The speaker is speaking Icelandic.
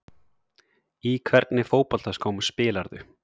Í hvernig fótboltaskóm spilarðu?